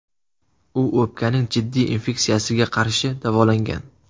U o‘pkaning jiddiy infeksiyasiga qarshi davolangan.